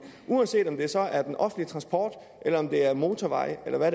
uanset om det så er den offentlige transport motorvejene eller hvad